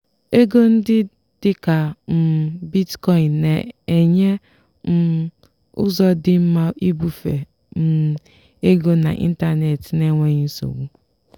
ego ndị dị ka um bitcoin na-enye um ụzọ dị mma ibufe um ego n'ịntanetị n'enweghị nsogbu.